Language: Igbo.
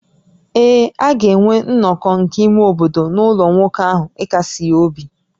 Ee, a ga-enwe nnọkọ nke ime obodo n’ụlọ nwoke ahụ ịkasi ya obi